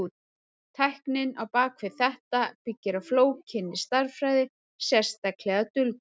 Tæknin á bak við þetta byggir á flókinni stærðfræði, sérstaklega dulkóðun.